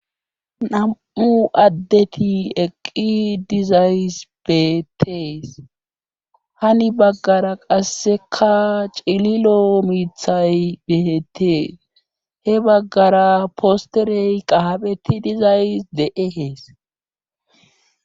nam'u addeti eqqi dizays betees hani baggara qasseka cililo miithay betees he baggara posterey qahabeti dizays de'ees